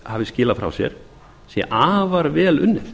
hefur skilað frá sér sé afar vel unnið